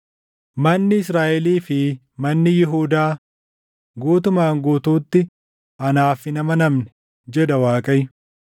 Manni Israaʼelii fi manni Yihuudaa, guutumaan guutuutti anaaf hin amanamne” jedha Waaqayyo.